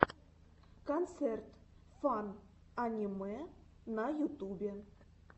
концерт фан аниме на ютубе